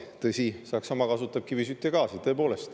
Tõsi, Saksamaa kasutab kivisütt ja gaasi.